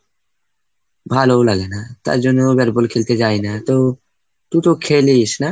ভালোও লাগে না, তাই জন্য bat ball খেলতে যাই না। তো তু তো খেলিস না?